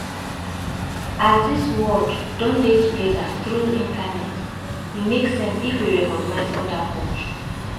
As di world don dey together through internet, e make sense if we recognise oda culture